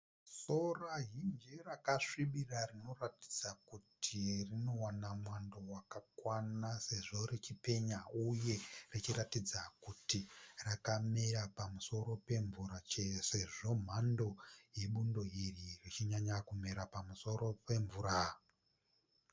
Sora zhinji rakasvibira rinoratidza kuti rinowana mwando wakakwana sezvo richipenya. Uye richiratidza kuti rakamera pamusoro pemvura sezvo mhando rebundo iri richinyanyomera pamusoro pemvura.